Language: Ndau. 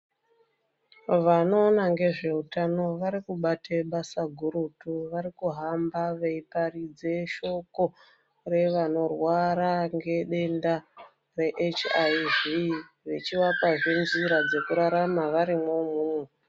Vanoona nezvehutano vari kubata basa gurutu vari kuhamba veiparidza shoko revanorwara nedenda reHIV vachivapa njira yekurarama ndiyo vechivaoa zve njira yekurarama variyo.